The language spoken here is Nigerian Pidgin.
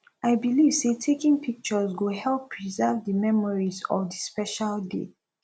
i believe say taking pictures go help preserve di memories of di special day